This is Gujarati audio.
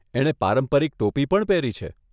એણે પારંપરિક ટોપી પણ પહેરી છે.